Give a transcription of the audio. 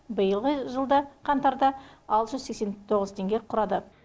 биылғы жылда қаңтарда алты жүз сексен тоғыз теңге құрады